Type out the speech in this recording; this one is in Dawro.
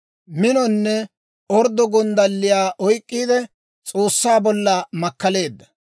Minonne orddo gonddalliyaa oyk'k'iide, S'oossaa bolla makkaleedda.